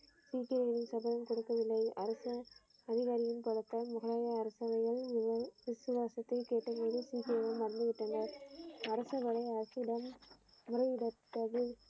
சீக்கியரின் சபையில் கொடுக்கவில்லை அரசு அதிகாரிகளின் பலத்தால் முகலாய அரசர்கள் விசுவாசத்தை கேட்டபோது மண்டியிட்டனர் அரசவர்கள் அரசிடம முறையிட்டது.